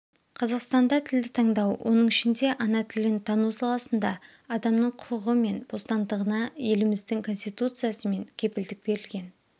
қазақстанда тілді таңдау оның ішінде ана тілін тану саласында адамның құқығы мен бостандығына еліміздің конституциясымен кепілдік берілген